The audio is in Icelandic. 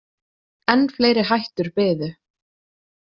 En fleiri hættur biðu.